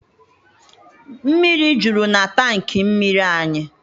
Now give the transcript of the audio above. Mmiri juru na tanki mmiri anyị.